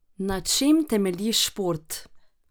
Na čem temelji šport?